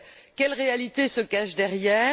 Quelles réalités se cachent derrière?